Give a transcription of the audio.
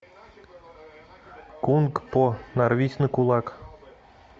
кунг по нарвись на кулак